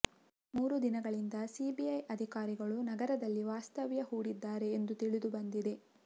ಮೂರು ದಿನಗಳಿಂದ ಸಿಬಿಐ ಅಧಿಕಾರಿಗಳು ನಗರದಲ್ಲಿ ವಾಸ್ತವ್ಯ ಹೂಡಿದ್ದಾರೆ ಎಂದು ತಿಳಿದುಬಂದಿದೆ